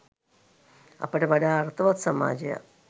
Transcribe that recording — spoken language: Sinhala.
අපට වඩා අර්ථවත් සමාජයක්